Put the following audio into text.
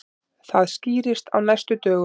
Það skýrist á næstu dögum.